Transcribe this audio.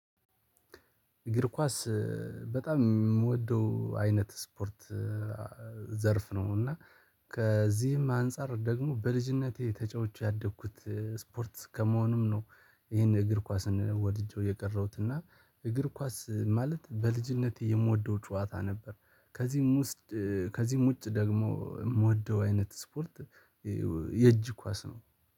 እግር ኳስ በጣም የምወደው አይነት የስፖርት ዘርፍ ነው፤ እና ከዚህም አንፃር ደግሞ በልጅነቴ ተጫውቼ ያደግሁት ስፖርት ከመሆኑም ይሄን እግር ኳስን ወድጄው የቀረውት፣ እና እግር ኳስ ማለት በልጅነቴ የምወደው ጨዋታ ነበር፤ ከዚህም ውስጥ ከዚህም ውጭ ደግሞ የምወደው አይነት ስፖርት የእጅ ኳስ ነው።